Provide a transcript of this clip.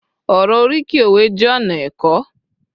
oro oriki òwe jé ona ẹkọ